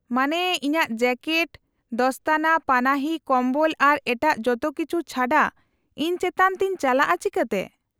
-ᱢᱟᱱᱮ, ᱤᱧᱟᱹᱜ ᱡᱮᱠᱮᱴ, ᱫᱚᱥᱛᱚᱱᱟ, ᱯᱟᱱᱟᱦᱤ, ᱠᱚᱢᱵᱚᱞ ᱟᱨ ᱮᱴᱟᱜ ᱡᱚᱛᱚ ᱠᱤᱪᱷᱩ ᱪᱷᱟᱰᱟ, ᱤᱧ ᱪᱮᱛᱟᱱ ᱛᱮᱧ ᱪᱟᱞᱟᱜᱼᱟ ᱪᱤᱠᱟᱹᱛᱮ ?